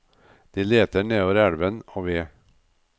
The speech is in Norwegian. De leter nedover elven og ved.